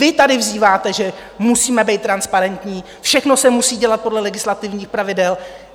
Vy tady vzýváte, že musíme být transparentní, všechno se musí dělat podle legislativních pravidel.